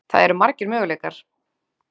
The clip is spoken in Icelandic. Það eru margir möguleikar.